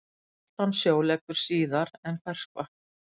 Saltan sjó leggur síðar en ferskvatn.